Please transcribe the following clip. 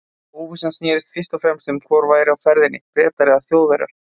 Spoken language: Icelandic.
Óvissan snerist fyrst og fremst um hvor væri á ferðinni- Bretar eða Þjóðverjar.